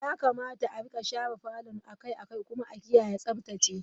Yakamata a rika share falon a kai a kai kuma a kiyaye Tsaftace.